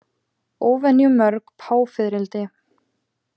Óvenju mörg páfiðrildi